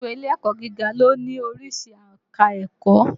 Gbogbo ilé-ẹ̀kọ̀ gíga ló ní oríṣi ẹ̀ka ẹ̀kọ́.